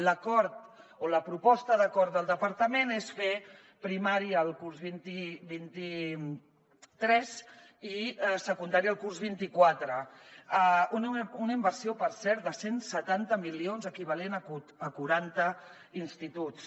l’acord o la proposta d’acord del departament és fer primària el curs vint tres i secundària el curs vint quatre una inversió per cert de cent i setanta milions equivalent a quaranta instituts